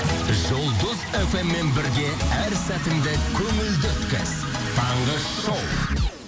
жұлдыз фм мен бірге әр сәтіңді көңілді өткіз таңғы шоу